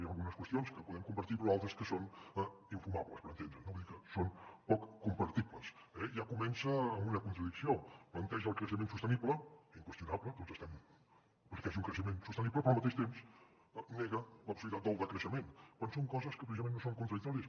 hi ha algunes qüestions que podem compartir però altres que són infumables per entendre’ns no vull dir que són poc compartibles eh ja comença amb una contradicció planteja el creixement sostenible inqüestionable tots estem perquè hi hagi un creixement sostenible però al mateix temps nega la possibilitat del decreixement quan són coses que precisament no són contradictòries